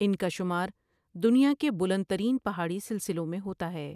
ان کا شمار دنیا کے بلند ترین پہاڑی سلسلوں میں ہوتا ہے ۔